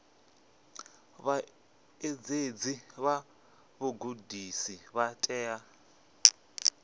vhaṋetshedzi vha vhugudisi vha tea